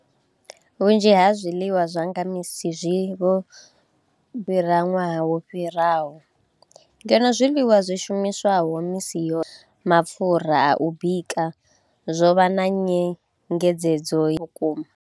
Vhunzhi ha zwiḽiwa zwa nga misi zwi vho u fhira ṅwaha wo fhiraho, ngeno zwiḽiwa zwi shumiswaho misi yoṱhe, mapfhura a u bika zwo vha na nyengedzedzo vhukuma.